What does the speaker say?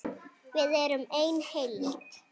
Við erum ein heild!